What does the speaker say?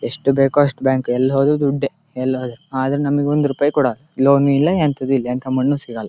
ಎಷ್ಟು ಬೇಕೋ ಅಷ್ಟ್ ಬ್ಯಾಂಕ್ ಎಲ್ ಹೋದ್ರು ದುಡ್ಡೆಆದ್ರು ನಂಗೊಂದ್ ರುಪಾಯ್ನು ಕೊಡಲ್ಲ ಲೋನು ಇಲ್ಲ ಎಂತದು ಇಲ್ಲಎಂತ ಮಣ್ಣು ಸಿಗಲ್ಲ --